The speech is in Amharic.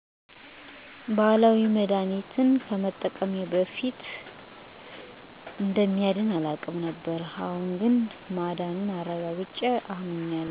ነፋስ ይማታል ይላሉ ትላልቅ ስዎች አላምንበትም ነበር ነገር ግን በቅርቡ ታምሜ በባህላዊ መድሀኒት ታክሜ ከዳንኩ በኋላ አምኛለሁ።